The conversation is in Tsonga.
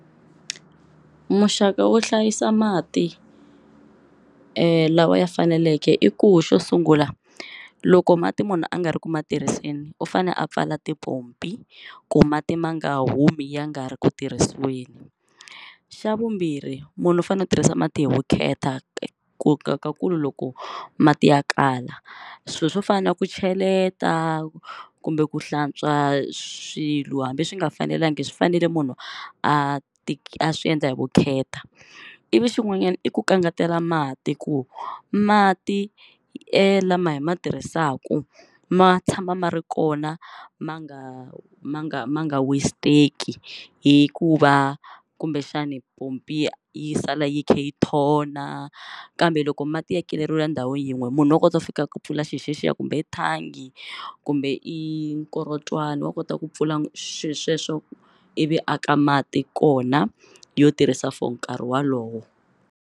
Muxaka wo hlayisa mati lawa ya faneleke i ku xo sungula loko mati munhu a nga ri ku ma tirhiseni u fane a pfala tipompi ku mati ma nga humi ya nga ri ku tirhisiweni, xa vumbirhi munhu u fanele u tirhisa mati hi vukheta ku ka ku loko mati ya kala swilo swo fana na ku cheleta kumbe ku hlantswa swilo hambi swi nga fanelanga swi fanele munhu a a swi endla hi vukheta, ivi xin'wanyana i ku kangatela mati ku mati e lama hi ma tirhisaku ma tshama ma ri kona ma nga ma nga ma nga westeki hikuva kumbexani pompi yi sala yi khe yi thona kambe loko mati ya keleriwe ndhawu yin'we munhu wa kota ku fika ku pfula xi xexiya kumbe i thangi kumbe i mukorotwani wa kota ku pfula xilo xexo ivi aka mati kona yo tirhisa for nkarhi walowo.